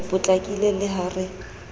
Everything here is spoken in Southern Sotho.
a potlakile le ha re